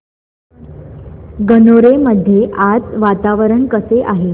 गणोरे मध्ये आज वातावरण कसे आहे